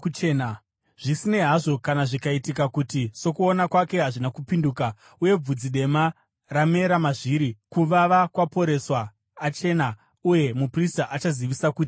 Zvisinei hazvo, kana zvikaitika kuti sokuona kwake hazvina kupinduka, uye bvudzi dema ramera mazviri, kuvava kwaporeswa, achena uye muprista achazivisa kuti akachena.